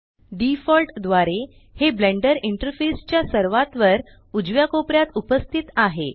default द्वारे हे Blender interface च्या सर्वात वर उजव्या कोपऱ्यात उपस्थित आहे